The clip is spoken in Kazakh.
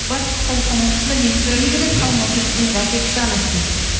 батыс қазақстан облысында негізі негізі әке күші ана сүтіне